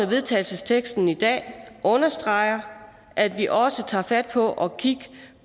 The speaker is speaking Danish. vedtagelsesteksten i dag understreger at vi også tager fat på at kigge